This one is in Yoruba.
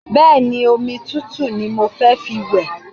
Bẹ́ẹ̀ni, omi tutu ni mo fẹ́ fi wẹ̀